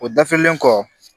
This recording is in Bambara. O dafilen kɔ